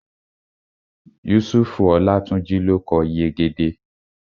Yusufu Olátúnjí ló kọ Yegede